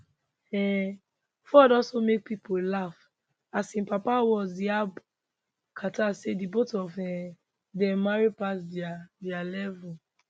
um ford also make pipo laugh as im papa words yab carter say di both of um dem marry pass dia dia level